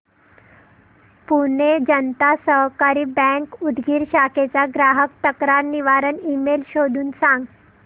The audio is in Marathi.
पुणे जनता सहकारी बँक उदगीर शाखेचा ग्राहक तक्रार निवारण ईमेल शोधून सांग